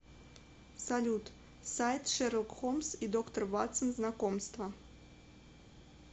салют сайт шерлок холмс и доктор ватсон знакомство